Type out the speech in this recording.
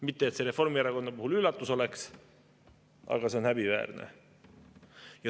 Mitte et see Reformierakonna puhul üllatus oleks, aga see on häbiväärne.